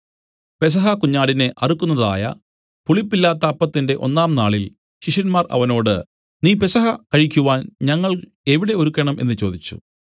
പെസഹ കുഞ്ഞാടിനെ അറുക്കുന്നതായ പുളിപ്പില്ലാത്ത അപ്പത്തിന്റെ ഒന്നാം നാളിൽ ശിഷ്യന്മാർ അവനോട് നീ പെസഹ കഴിക്കുവാൻ ഞങ്ങൾ എവിടെ ഒരുക്കണം എന്നു ചോദിച്ചു